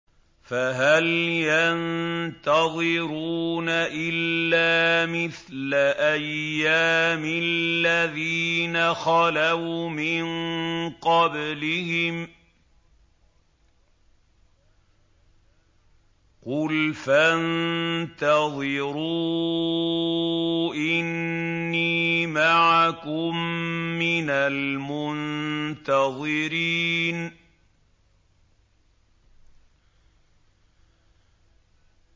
فَهَلْ يَنتَظِرُونَ إِلَّا مِثْلَ أَيَّامِ الَّذِينَ خَلَوْا مِن قَبْلِهِمْ ۚ قُلْ فَانتَظِرُوا إِنِّي مَعَكُم مِّنَ الْمُنتَظِرِينَ